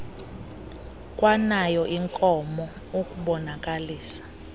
kwanayo inkomo ukubonakalisa